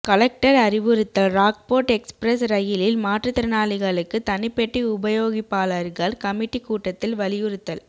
collector அறிவுறுத்தல் Rockfort Express ரயிலில் மாற்றுத்திறனாளிகளுக்கு தனி பெட்டி உபயோகிப்பாளர்கள் கமிட்டி கூட்டத்தில் வலியுறுத்தல்